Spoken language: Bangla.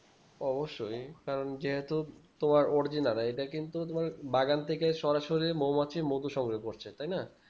অবশ্যই কারণ যেহেতু তোমার original এটা কিন্তু তোমার বাগান থেকে সরাসরি মৌমাছি মধু সংগ্রহ করছে